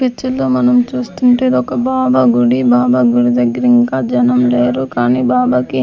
picture లో మనం చూస్తుంటే ఒక బాబా గుడి బాబాగుడి దగ్గర ఇంకా జనముండారు కానీ బాబాకి --